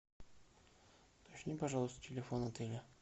уточни пожалуйста телефон отеля